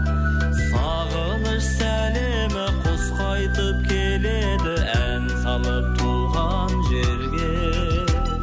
сағыныш сәлемі құс қайтып келеді ән салып туған жерге